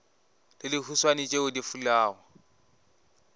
le dihuswane tšeo di fulago